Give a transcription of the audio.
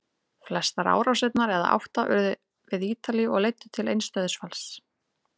Flestar árásirnar, eða átta, urðu við Ítalíu og leiddu til eins dauðsfalls.